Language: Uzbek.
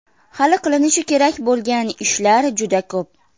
Hali qilinishi kerak bo‘lgan ishlar juda ko‘p.